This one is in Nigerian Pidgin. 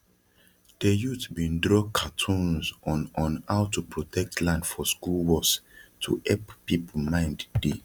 de youth bin draw cartoons on on how to protect land for skool walls to hep people mind dey